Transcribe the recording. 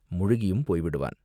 முழுகியும் போய்விடுவான்.